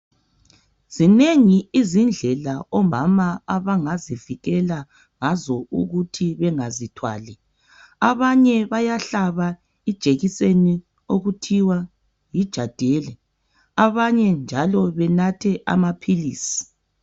Zinengi izindlela omama abangazivikela ngazo ukuthi bengazithwali. Abanye bayahlaba ijekiseni okuthiwa yi jadeli, abanye njalo benathe amaphilisi.